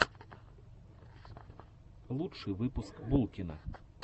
лучший выпуск булкина